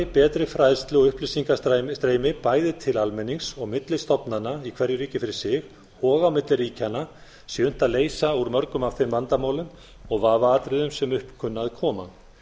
betri fræðslu og upplýsingastreymi bæði til almennings og milli stofnana í hverju ríki fyrir sig og á milli ríkjanna sé unnt að leysa úr mörgum af þeim vandamálum og vafaatriðum sem upp kunna að koma